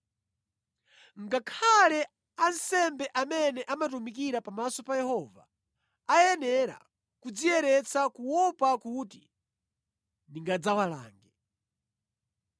Ngakhale ansembe amene amatumikira pamaso pa Yehova ayenera kudziyeretsa kuopa kuti ndingadzawalange.”